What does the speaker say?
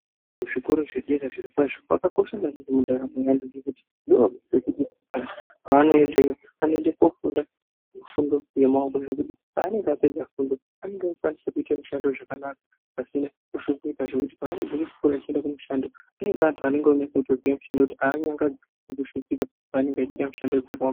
Kuzvikora zvedera zvirokwazvo zvakakosha maningi mundaramo yevantu ngekuti antu pavanoendeyo vanoende koofunda zvifundo zvemaoko zvekuti paanenge apedza fundo anenge aakukwanisa kuite mushando zvakanaka pasina kushupika zvekuti paanobve kuchikora eiende kumushando anenge paanenge akunase kutoziye mushando ngekuti aanyangadzwi kana kushupika paanenge achiite mishando dzakaoma.